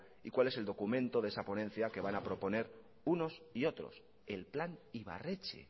y cuál es el documento de esa ponencia que van a proponer unos y otros el plan ibarretxe